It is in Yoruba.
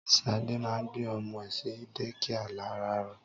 Ṣadé ma ń gbé ọmọ ẹ̀ sí dékià láràárọ.